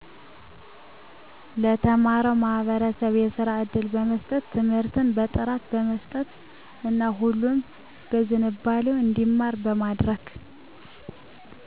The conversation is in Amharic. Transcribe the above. ለተማረው ማህበረሰብ የስራ እድል በመስጠት ትምርትን በጥራት በመስጠት እና ሁሉም በዝንባሌው እንዲማር በማድረግ